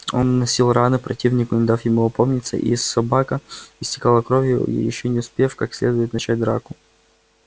он наносил раны противнику не дав ему опомниться и собака истекала кровью ещё не успев как следует начать драку